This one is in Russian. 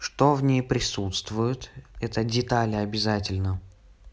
что в ней присутствуют это детали обязательно